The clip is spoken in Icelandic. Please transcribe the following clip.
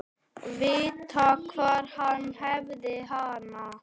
Vita hvar hann hefði hana.